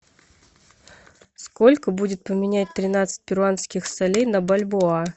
сколько будет поменять тринадцать перуанских солей на бальбоа